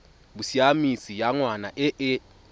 bosiamisi ya ngwana e e